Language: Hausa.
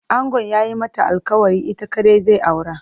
Angon ya yi mata alkawarin ita kaɗai zai aura.